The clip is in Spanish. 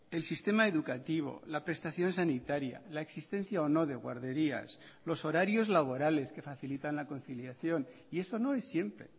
el sistema educativo la prestación sanitaria la existencia o no de guarderías los horarios laborales que facilitan la conciliación y eso no es siempre